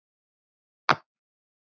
Er Lúlli heima?